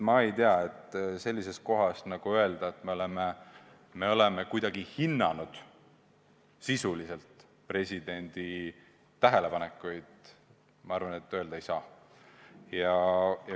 Ma ei tea, sellisel juhul öelda, et me oleme presidendi tähelepanekuid sisuliselt hinnanud, küll ei saa.